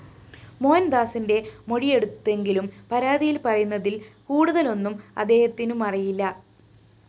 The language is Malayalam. മോഹന്‍ദാസിന്റെ മൊഴിയെടുത്തെങ്കിലും പരാതിയില്‍ പറയുന്നതില്‍ കൂടുതലൊന്നും അദ്ദേഹത്തിനുമറിയില്ല